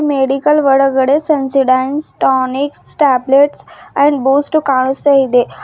Medical ಒಳಗಡೆ Sensodynes tonic tablets and Boost ಕಾಣುಸ್ತಾ ಇದೆ.